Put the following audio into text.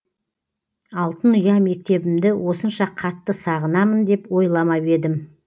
алтын ұя мектебімді осынша қатты сағынамын деп ойламап едім